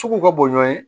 Sugu ka bon ye